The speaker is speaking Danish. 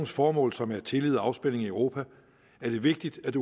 formål som er tillid og afspænding i europa er det vigtigt at